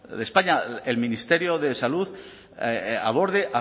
de españa el ministerio de salud aborde